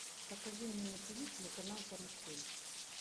покажи мне на тв телеканал карусель